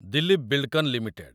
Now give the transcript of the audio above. Dilip Buildcon limited